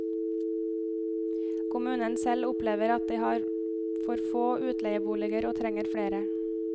Kommunen selv opplever at de har for få utleieboliger og trenger flere.